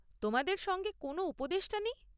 তোমাদের সঙ্গে কোনও উপদেষ্টা নেই?